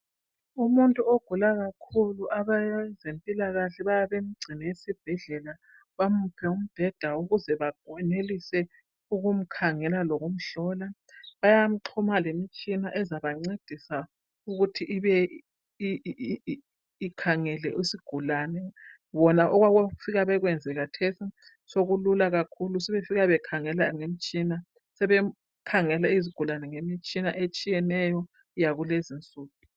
Umuntu ogula kakhulu abezempilakahle bayabe bemgcine esibhedlela bamuphe umbheda ukuze bakwenelise ukumkhangela lokumhlola. Bayamxhuma lemtshina ezabancedisa ukuthi ibe ikhangele isigulane. Bona okwabo abafika bekwenze khathesi sokulula kakhulu. Sebefika bekhangela ngemtshina. Sebekhangela izigulane ngemitshina etshiyeneyo yakulezi insuku.